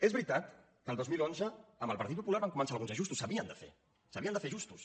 és veritat que el dos mil onze amb el partit popular van començar alguns ajustos s’havien de fer s’havien de fer ajustos